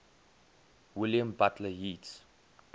william butler yeats